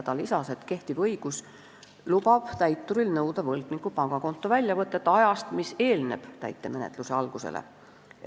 Ta lisas, et kehtiv õigus lubab täituril nõuda võlgniku pangakonto väljavõtet ajast, mis eelneb täitemenetluse algusele.